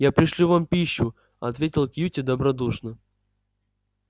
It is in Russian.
я пришлю вам пищу ответил кьюти добродушно